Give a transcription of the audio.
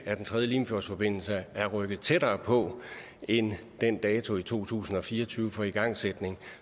at en tredje limfjordsforbindelse er rykket tættere på end den dato i to tusind og fire og tyve for igangsætning